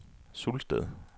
Sulsted